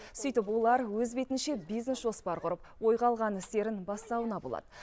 сөйтіп олар өз бетінше бизнес жоспар құрып ойға алған істерін бастауына болады